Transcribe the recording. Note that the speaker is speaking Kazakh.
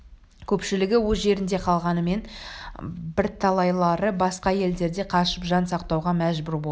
көпшілігі өз жерінде қалғанменен бірталайлары басқа елдерге қашып жан сақтауға мәжбүр болды